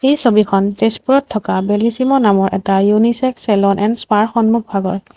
এই ছবিখন তেজপুৰত থকা বেলিছিমো নামৰ এটা ইউনিছেক্স চেলুন এণ্ড স্পা সন্মুখ ভাগৰ।